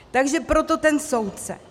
Takže proto ten soudce.